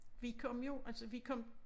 Vi kom jo altså vi kom